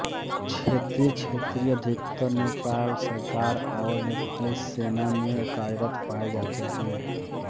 क्षेत्री छेत्री अधिकतर नेपाल सरकार और नेपाली सेना में कार्यरत पाए जाते हैं